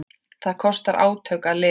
Það kostar átök að lifa.